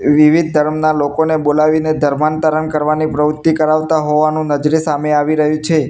વિવિધ ધર્મના લોકોને બોલાવીને ધર્માંતરણ કરવાની પ્રવુત્તિ કરાવતા હોવાનું નજરે સામે આવી રહ્યું છે.